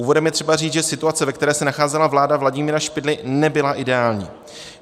Úvodem je třeba říct, že situace, ve které se nacházela vláda Vladimíra Špidly, nebyla ideální.